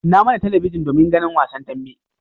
Kunna mana talabijin domin ganin wasan dambe.